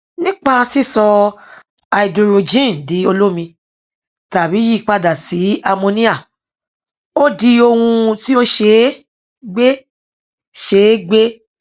nípa sísọ háídírójìn di olómi tàbi yíyipadà sí àmóníà ó di ohun tí ó ṣe é gbé ṣe é gbé